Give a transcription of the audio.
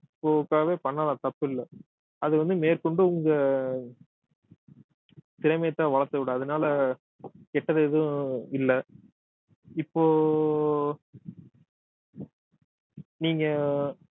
போக்காக பண்ணலாம் தப்பு இல்லை அது வந்து மேற்கொண்டு உங்க திறமையத்தான் வளர்த்து விடும் அதனால கெட்டது எதுவும் இல்லை இப்போ நீங்க